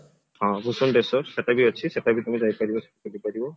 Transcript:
ହଁ ଭୂଶଣ୍ଢେଶ୍ଵର ସେଟା ବି ଅଛି ସେଟା ବି ତୁମେ ଯାଇପାରିବ ବୁଲିପାରିବ